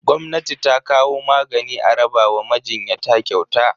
Gwamnati ta kawo magani a raba wa majinyata kyauta.